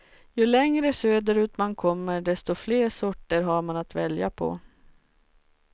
Ju längre söderut man kommer desto fler sorter har man att välja på.